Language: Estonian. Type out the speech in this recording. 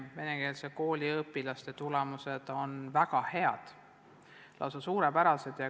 Venekeelsete koolide õpilaste tulemused on väga head, lausa suurepärased.